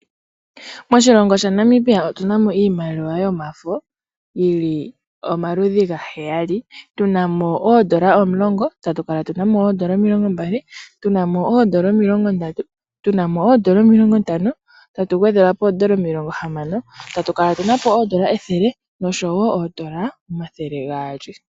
Moshilongo shaNamibia otuna mo iimaliwa yomafo yili omaludhi ga heyali. Tuna mo oodola omulongo, tatu kala tuna mo oodola omilongo mbali tuna mo oodola omilongo ndatu, tuna mo oodola omilongo ntano. Tatu gwedhelwa po oodola omilongo hamano. Tatu kala tuna po oodola ethele nosho wo oodola omathele gaali.